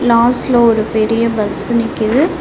லாஸ்ட்ல ஒரு பெரிய பஸ் நிக்கிது.